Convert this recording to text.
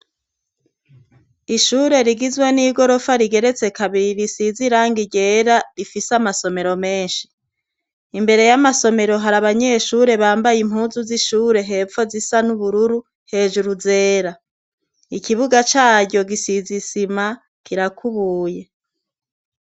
Ishure rigizwe n'igorofa rigeretse kabiri, risize irangi ryera, rifise amasomero menshi. Imbere y'amasomero hari abanyeshure bambaye impuzu z'ishure hepfo zisa n'ubururu, hejuru zera. Ikibuga caryo gisize isima, kirakubuye.